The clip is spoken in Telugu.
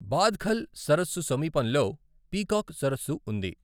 బాద్ఖల్ సరస్సు సమీపంలో పీకాక్ సరస్సు ఉంది.